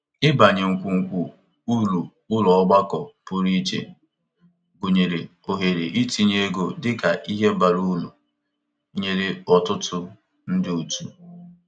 Ịbanye ngwungwu uru ụlọ ọgbakọ pụrụiche, gụnyere ohere itinye ego, dị ka ihe bara uru nye ọtụtụ ndị otu.